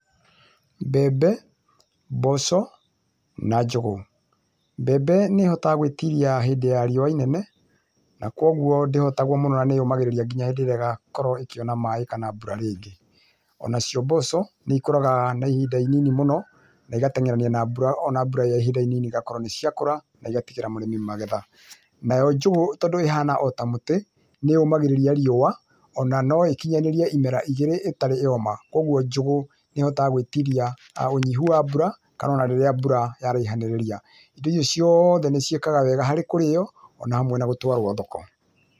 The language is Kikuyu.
Mbembe, mboco, na njũgũ. Mbembe nĩĩhotaga gũitirĩa hĩndĩ ya riũa inene na kwoguo ndĩhotagwo mũno na nĩ yũmagirĩria ginyagĩa hĩndi ĩrĩa ĩgakorwo ĩkĩona maĩ kana bura riĩngi. onacio mboco nĩĩkoraga na ihinda inini mũno na igateng'erania na mbura ona mbura ĩyaihiĩndaĩnĩnĩ igakorwo nĩciakũra naĩgatigĩra mũrĩmĩ magetha. Nayo njũgũ tondũ ihana ota mũtĩ nĩyũmagirĩria riũa ona noĩkinyanĩrie ĩmera ĩgĩrĩ ĩtarĩ yoma kwoguo njũgũ nĩĩhotaga gwĩtĩrĩa ũnyĩhu wa bura kana ona rĩrĩa mbura yaraĩhanĩrĩria. Indo icio ciothe niciĩkaga wega harĩ kũrĩo ona hamwe na gũtwarwo thoko.